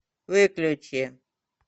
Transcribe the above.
выключи